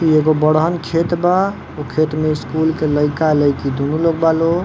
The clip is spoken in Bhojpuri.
ई एगो बड़हन खेत बा। ओ खेत में स्कूल के लइका-लईकी दुनू लोग बा लोग।